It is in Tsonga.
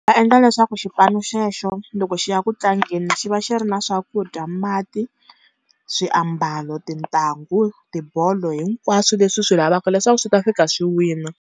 Va endla leswaku xipano xexo loko xi ya ku tlangeni xi va xi ri na swakudya, mati, swiambalo, tintangu, tibolo, hinkwaswo leswi swi lavaka leswaku swi ta fika swi wina.